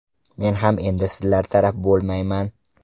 Men ham endi sizlar taraf bo‘lmayman.